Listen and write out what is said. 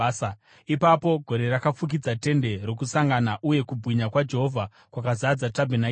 Ipapo gore rakafukidza Tende Rokusangana, uye kubwinya kwaJehovha kwakazadza tabhenakeri.